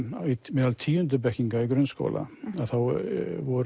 meðal tíundu bekkinga í grunnskóla að þá voru